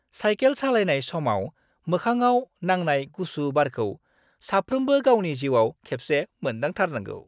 Cycle सालायनाय समाव मोखांआव नांनाय गुसु बारखौ साफ्रोमबो गावनि जिउआव खेबसे मोन्दांथारनांगौ।